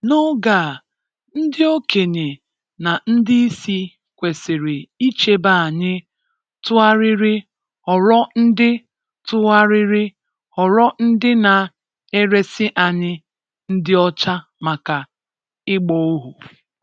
N'oge a, ndị okenye na ndị isi kwesịrị ichebe anyị tụgharịrị ghọrọ ndị tụgharịrị ghọrọ ndị na-eresị anyị ndị ọcha maka ịgba ohu.